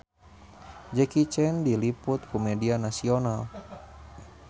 Jackie Chan diliput ku media nasional